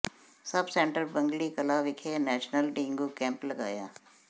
ਸਬ centre Bagli Kalan ਵਿਖੇ national dengue camp ਲਗਾਇਆ